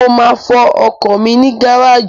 Mo máa fọ ọkọ̀ mi ní gáràjì